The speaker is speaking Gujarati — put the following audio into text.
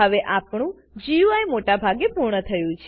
હવે આપણું ગુઈ મોટા ભાગે પૂર્ણ થયું છે